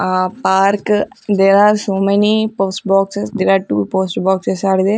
Ah Park there are so many post boxes there are two post boxes are there.